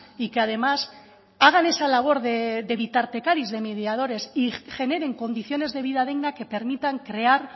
y que además hagan esa labor de mediadores y generen condiciones de vida digna que permitan crear